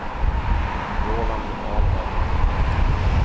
Roland Ahlberg